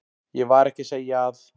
Ég var ekki að segja að.